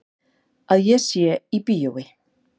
Að ég sé í bíói.